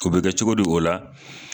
O bɛ kɛ cogo di o la